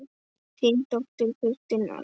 Þín dóttir Kristín Alda.